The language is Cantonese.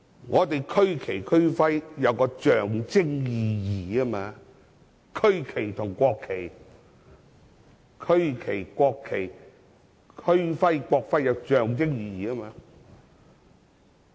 我們的區旗及區徽具有象徵意義，區旗、國旗、區徽及國徽是有象徵意義的。